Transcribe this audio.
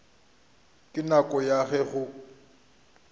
ka nako ya ge go